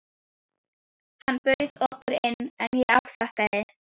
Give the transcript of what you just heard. Þar hefur Tryggvi vísuna eftir föður sínum, sem var samtímamaður